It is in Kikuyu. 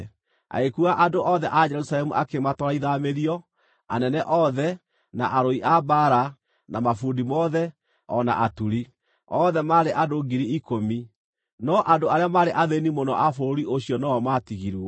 Agĩkuua andũ othe a Jerusalemu akĩmatwara ithaamĩrio: anene othe, na arũi a mbaara, na mabundi mothe, o na aturi; othe maarĩ andũ 10,000. No andũ arĩa maarĩ athĩĩni mũno a bũrũri ũcio no-o maatigirwo.